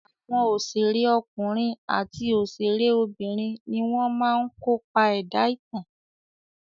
Àwọn òṣèré ọkùnrin àti òṣèré obìnrin ni wọ́n máa ń kopa ẹ̀dá ìtàn.